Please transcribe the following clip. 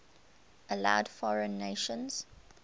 allowed foreign nations